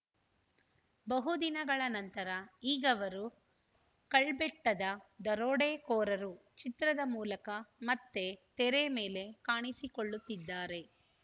ಬಹುದಿನಗಳ ನಂತರ ಈಗವರು ಕಳ್ಬೆಟ್ಟದ ದರೋಡೆಕೋರರು ಚಿತ್ರದ ಮೂಲಕ ಮತ್ತೆ ತೆರೆ ಮೇಲೆ ಕಾಣಿಸಿಕೊಳ್ಳುತ್ತಿದ್ದಾರೆ